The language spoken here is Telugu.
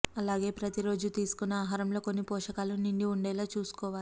అలాగే ప్రతి రోజు తీసుకునే ఆహారంలో అన్ని పోషకాలు నిండి ఉండేలా చూసుకోవాలి